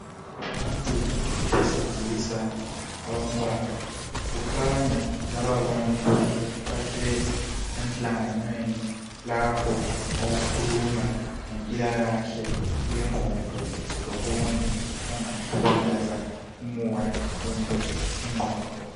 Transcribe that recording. Ngabantu besilisa abambalwa .Kukhanya lababantu bahlezi emhlanganweni lapho okukhulunywa ngempilakahle yengqondo lokunye okungahlukumeza umoya kumbe ingqondo.